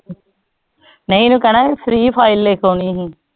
ਨਹੀਂ ਏਨਾ ਕਹਿਣਾ free fire ਲਿਖ ਆਉਣੀ ਸੀ